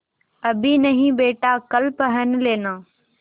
अभी नहीं बेटा कल पहन लेना